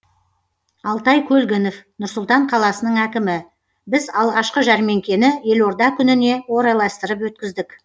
алтай көлгінов нұр сұлтан қаласының әкімі біз алғашқы жәрмеңкені елорда күніне орайластырып өткіздік